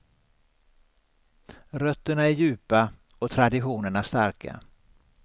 Rötterna är djupa och traditionerna starka.